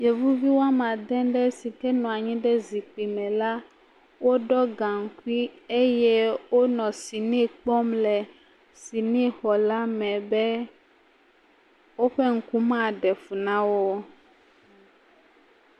Yevuvi woame ade sike nɔ anyi ɖe zikpui me la, woɖɔ gankui eye wonɔ sini kpɔm le sini xɔ la me be woƒe ŋku ma ɖe fũ nawò o.